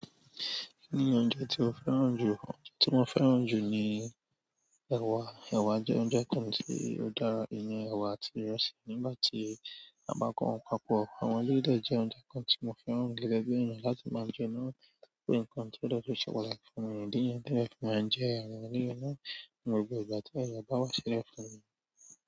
Kí ni oúnjẹ tí o fẹ́ràn jù? Oúnjẹ tí mo fẹ́ràn jù ni ẹ̀wà. Ẹ̀wà jẹ́ oúnjẹ kan tí ó dára. Ìyẹn ẹ̀wà àti ìrẹsì nígbà tí a bá papọ̀ àwọn eléyìí dẹ̀ jẹ́ oúnjẹ kan tí mo fẹ́ràn gan-an. Gẹgẹbi ènìyàn láti ma jẹ náà tó jẹ́ pé ǹkan tó dẹ tún ṣe pàtàkì fún mi ìdí ni èyí tí èmi fi má ń jẹ àwọn ilé yìí náà ni gbogbo ìgbà tí ayé bá ṣi silẹ fún mi.